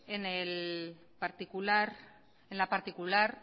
en la particular